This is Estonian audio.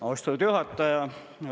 Austatud juhataja!